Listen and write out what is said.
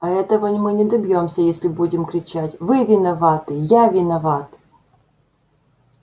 а этого мы не добьёмся если будем кричать вы виноваты я виноват